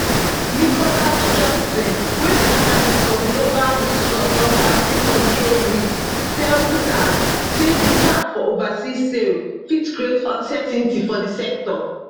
mikolaj judson wey be analyst for global risk consultancy control risks tell reuters say di cap for overseas sales fit create uncertainty for di sector